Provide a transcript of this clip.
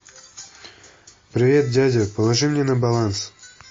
привет дядя положи мне на баланс